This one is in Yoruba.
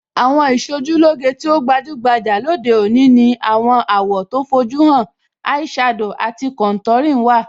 Àwọn Ìṣojúlóge tí ó gbajúgbajà lóde òní ní àwọn àwọ̀ tó fojú hàn,ẹ ẹ̀ shadow àti contouring. wà.